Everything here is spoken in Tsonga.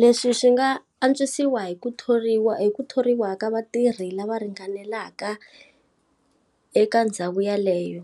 Leswi swi nga antswisiwa hi ku thoriwa hi ku thoriwa ka vatirhi lava ringanelaka eka ndhawu ya leyo.